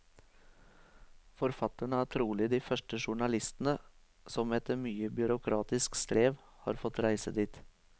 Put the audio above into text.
Forfatterne er trolig de første journalistene som, etter mye byråkratisk strev, har fått reise dit.